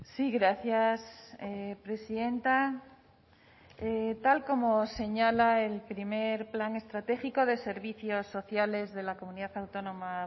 sí gracias presidenta tal como señala el primer plan estratégico de servicios sociales de la comunidad autónoma